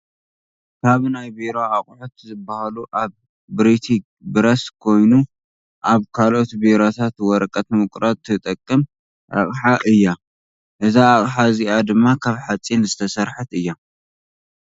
ካብ ናይ ቢሮ ኣቁሑት ዝበሃሉ ኣብ ብሪቲግ ብረስ ኮነ ኣብ ካልኦት ቢሮታት ወረቀት ንምቁራፅ ትጠቅም ኣቅሓ እያ እዛ ኣቅሓ እዚኣ ድማ ካብ ሓፂን ዝተሰረሐት እያ።